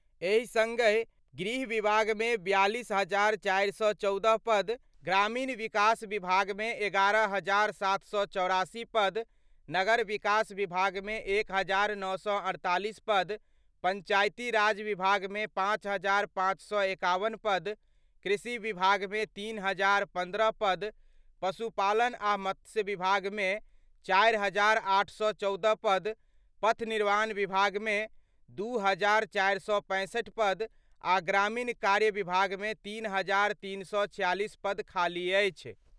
एहि संगहि गृह विभाग मे 42,414 पद, ग्रामीण विकास विभाग मे 11,784 पद, नगर विकास विभाग मे 1,948 पद, पंचायती राज विभाग मे 5,551 पद, कृषि विभाग मे 3,015 पद, पशुपालन आ मत्स्य विभाग मे 4,814 पद, पथ निर्माण विभाग मे 上国型斗 2,465 पद आ ग्रामीण कार्य विभाग मे 3,346 पद खाली अछि।